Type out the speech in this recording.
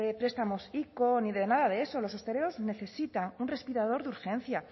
prestamos ico ni de nade de eso los hosteleros necesitan un respirador de urgencia